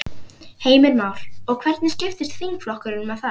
Heimir Már: Og hvernig skiptist þingflokkurinn með það?